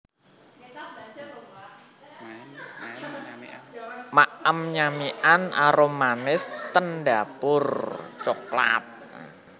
Maem nyamikan arumanis ten Dapur Coklat